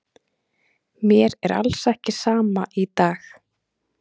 Mér er alls ekki sama í dag.